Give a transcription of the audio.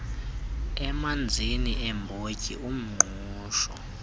emanzini iimbotyi umngqusho